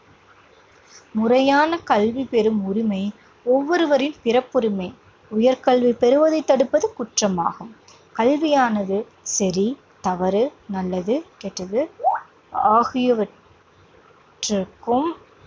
முறையான கல்வி பெறும் உரிமை ஒவ்வொருவரின் பிறப்புரிமை. உயர் கல்வி பெறுவதை தடுப்பது குற்றமாகும். கல்வியானது சரி, தவறு, நல்லது, கெட்டது ஆகியவற்றுக்கும்